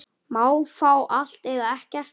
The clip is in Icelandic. Má fá allt, eða ekkert.